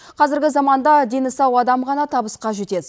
қазіргі заманда дені сау адам ғана табысқа жетеді